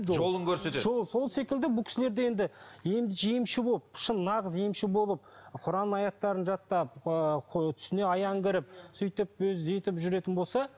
жолын көрсетеді сол секілді бұл кісілер де енді шын нағыз емші болып құран аяттарын жаттап ыыы түсіне аян кіріп сөйтіп өзі өйтіп жүретін болса